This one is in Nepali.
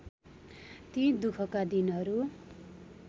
ती दुखका दिनहरू